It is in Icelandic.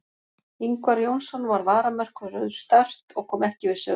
Ingvar Jónsson var varamarkvörður Start og kom ekki við sögu.